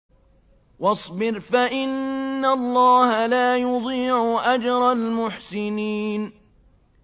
وَاصْبِرْ فَإِنَّ اللَّهَ لَا يُضِيعُ أَجْرَ الْمُحْسِنِينَ